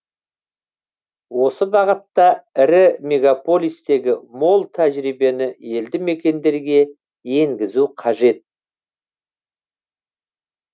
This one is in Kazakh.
осы бағытта ірі мегаполистегі мол тәжірибені елді мекендерге енгізу қажет